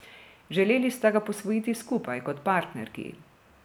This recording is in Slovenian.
Želeli sta ga posvojiti skupaj, kot partnerki.